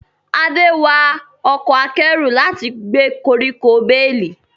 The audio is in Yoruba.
Ade wa ọkọ̀ akẹ́rù láti gbé koríko bales.